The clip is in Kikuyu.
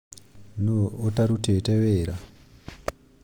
Nu̅u ũtarutĩte wĩra